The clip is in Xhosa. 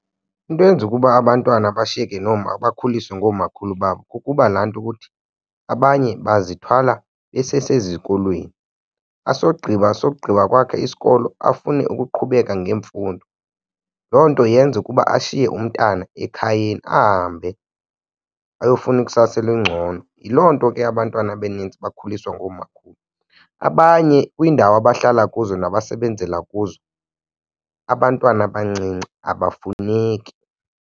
Into eyenza ukuba abantwana bashiyeke nooma, bakhuliswe ngomakhulu babo kukuba laa nto ukuthi abanye bazithwla besesezikolweni, asogqiba sogqiba kwakhe isikolo afune ukuqhubeka ngemfundo. Loo nto yenza ukuba ashiye umntana ekhayeni ahambe ayofuna ikusasa elingcono. Yiloo nto ke abantwana abanintsi bekhuliswa ngoomakhulu. Abanye kwiindawo abahlala kuzo nabasebenzela kuzo abantwana abancinci abafuneki.